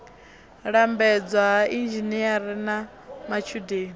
lambedzwa ha inzhinere na matshudeni